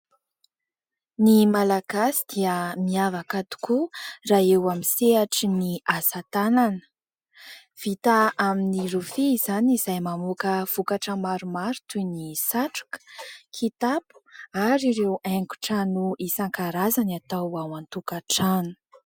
Ny malagasy dia miavaka tokoa raha eo amin'ny sehatrin'ny asatanana. Vita amin'ny rofia izany izay mamoaka vokatra maromaro toy ny satroka, kitapo ary ireo haingon-trano isankarazany atao ao antokan-trano.